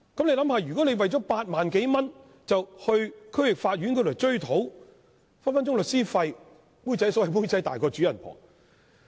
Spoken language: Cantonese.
試想一想，如果市民為了8萬多元在區域法院追討賠償，律師費隨時更昂貴，可謂"妹仔大過主人婆"。